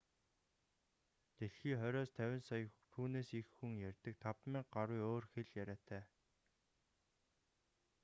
дэлхий хориос 50 сая түүнээс их хүн ярьдаг 5000 гаруй өөр хэл яриатай